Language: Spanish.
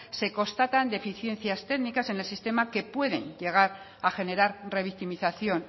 se constatan deficiencias técnicas en el sistema que pueden llegar a generar revictimización